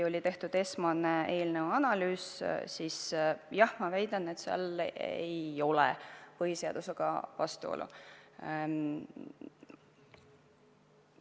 On tehtud esmane eelnõu analüüs ja ma väidan, et seal ei ole põhiseadusega vastuolu.